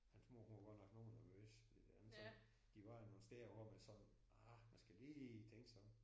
Hans mor hun var godt nok noget nervøs ved det ikke sådan. De var nogle steder hvor man sådan ah man skal lige tænke sig om